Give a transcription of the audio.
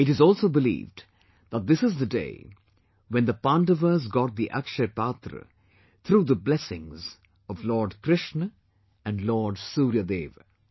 It is also believed that this is the day when the Pandavas got the AkshayaPatra through the blessings of Lord Krishna and Lord Suryadev